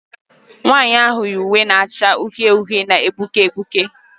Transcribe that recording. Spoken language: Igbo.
Nwanyị ahụ yi uwe na-acha uhie uhie na-egbuke egbuke